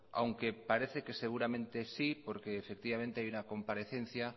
aunque parece que seguramente sí porque efectivamente hay una comparecencia